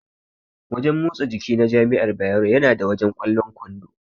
Wajen motsa jiki na jami'ar Bayero yana da wajen ƙwallon kwando.